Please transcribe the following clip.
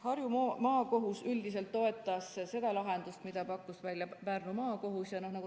Harju Maakohus üldiselt toetas seda lahendust, mille pakkus välja Pärnu Maakohus.